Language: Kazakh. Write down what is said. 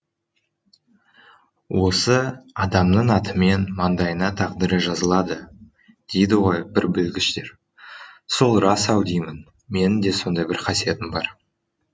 осы адамның атымен маңдайына тағдыры жазылады дейді ғой бір білгіштер сол рас ау деймін менің де сондай бір қасиетім бар